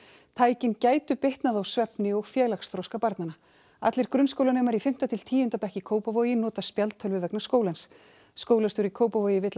tækin gætu bitnað á svefni og félagsþroska allir grunnskólanemar í fimmta til tíunda bekk í Kópavogi nota spjaldtölvu vegna skólans skólastjóri í Kópavogi vill að